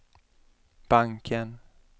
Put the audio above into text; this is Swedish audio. banken